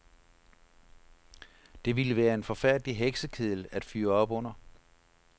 Det ville være en forfærdelig heksekedel at fyre op under.